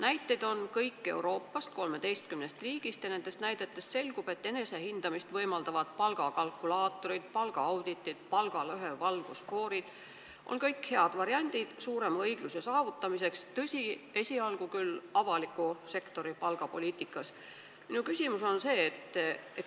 Näited on kõik Euroopast, 13 riigist, ja nendest selgub, et enesehindamist võimaldavad palgakalkulaatorid, palgaauditid ja palgalõhe valgusfoorid on kõik head variandid suurema õigluse saavutamiseks, tõsi, esialgu küll avaliku sektori palgapoliitikas.